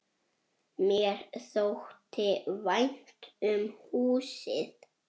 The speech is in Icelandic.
Mér þótti vænt um húsið.